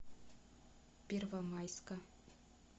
первомайска